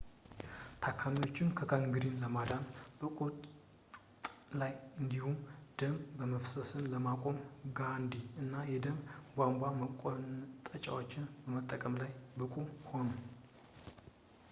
ታካሚዎችን ከጋንግሪን ለማዳን መቁረጥ ላይ እንዲሁም ደም መፍሰስን ለማቆም ጋዲ እና የደም ቧንቧ መቆንጠጫዎችን መጠቀም ላይ ብቁ ሆኑ